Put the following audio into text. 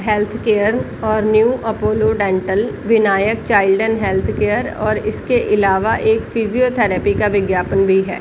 Health care और new Apollo dental Vinayak child and health care और इसके अलावा एक फिजियोथेरेपी का विज्ञापन भी है ।